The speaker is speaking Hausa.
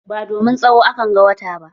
Ba domin tsawo a kan ga wata ba.